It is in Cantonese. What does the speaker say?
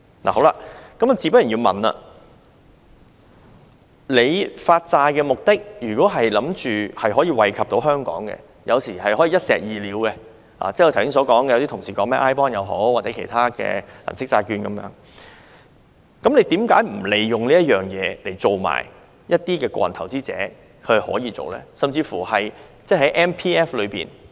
我想問的是，當局發債的目的如果是為了益惠香港，有時是可以一石二鳥的，剛才有些同事也提到 iBond 或其他銀色債券等，為何不利用這次發債令一般的個人投資者也可以進行投資呢？